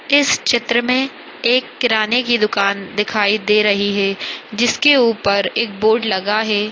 इस चित्र मे एक किराने की दुकान दिखाई दे रही है जिसके ऊपर एक बोर्ड लगा है।